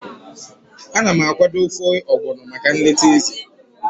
Ana m akwado ofe Ogbono maka nleta Eze.